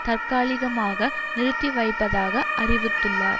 தற்காலிகமாக நிறுத்தி வைப்பதாக அறிவித்துள்ளார்